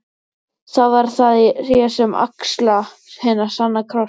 Þá verð það ég sem axla hinn sanna kross.